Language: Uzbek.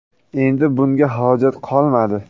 Endi bunga hojat qolmadi.